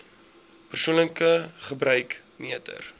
persoonlike gebruik meter